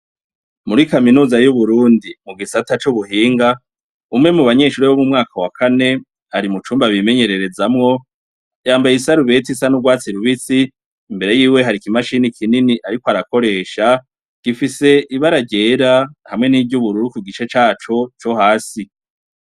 Muri kaminuza y'uburundi mu gisata c'ubuhinga umwe mu banyeshuri bo mu mwaka wa kane ari mu cumba bimenyererezamwo yambaye isarubeti isa n'urwatsi rubisi imbere yiwe harikimashini kinini, ariko arakoresha gifise ibara ryera hamwe n'iryo ubururu ku gice caco co hasi.